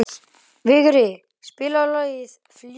Vigri, spilaðu lagið „Fljúgðu“.